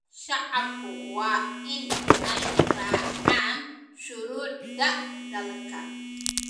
Shacabku waa in ay raacaan shuruucda dalka.